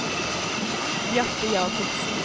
Bjarte Jacobsen